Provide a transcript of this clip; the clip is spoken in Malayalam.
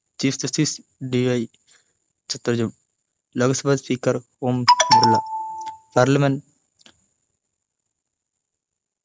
chief justiceD. Y Chandrachud Lok Sabha speaker Om Birla parliament